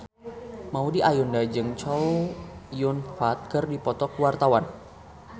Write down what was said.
Maudy Ayunda jeung Chow Yun Fat keur dipoto ku wartawan